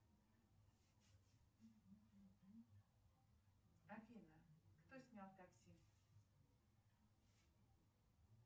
афина кто снял такси